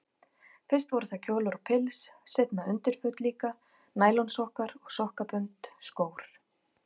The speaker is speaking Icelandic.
Fyrst voru það kjólar og pils, seinna undirföt líka, nælonsokkar og sokkabönd, skór.